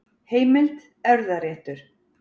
Heimild: Erfðaréttur.